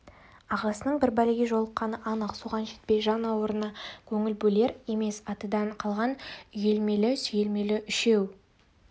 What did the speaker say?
ағасының бір бәлеге жолыққаны анық соған жетпей жан ауруына көңіл бөлер емес атадан қалған үйелмелі-сүйелмелі үшеу